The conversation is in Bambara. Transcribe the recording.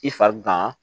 I farikan